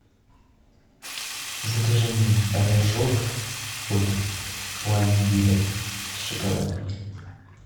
закажи мне рожок от пломбира с шоколадом